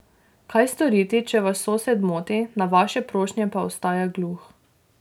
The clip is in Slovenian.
Kaj storiti, če vas sosed moti, na vaše prošnje pa ostaja gluh.